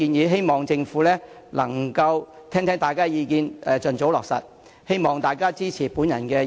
我希望政府能夠聽取大家的意見，盡早落實有關建議。